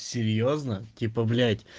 серьёзно типа блять